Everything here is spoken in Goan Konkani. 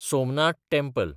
सोमनाथ टँपल